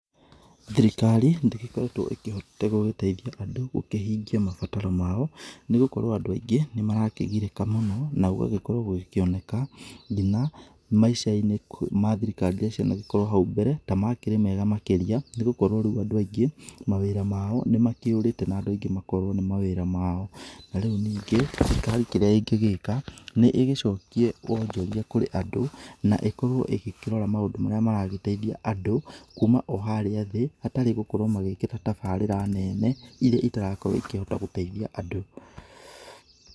Thirikari ndĩgĩkoretwo ĩkĩhotete gũgĩteithia andũ gũkĩhĩngĩa mabataro mao, nĩgũkorwo andũ aingĩ nĩ marakĩgirĩka mũno, na gũgagĩkorwo gũgĩkĩoneka ngina maica-inĩ ma thirikari irĩa cianagĩkorwo na hau mbere ta makĩrĩ mega makĩria, nĩ gũkorwo rĩu andũ aingĩ mawĩra mao nĩ makĩũrĩte na andũ aingĩ makorwo nĩ mawĩra mao. Na rĩu ningĩ, thirikari kĩrĩa ĩngĩgĩka nĩ ĩgĩcokie wonjoria kũrĩ andũ, na ĩkorwo ĩgĩkĩrora maũndũ marĩa maragĩteithia andũ, kuuma o harĩa thĩ hatarĩ gũkorwo magĩkĩra tabarĩra neene irĩa itarakorwo kũhota igĩteithia andũ.